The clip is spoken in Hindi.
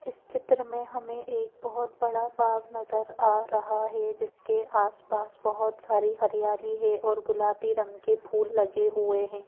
इस चित्र में हमें एक बहुत बड़ा बाग नजर आ रहा है जिसके आसपास बहुत सारी हरियाली है और गुलाबी रंग के फूल लगे हुए हैं।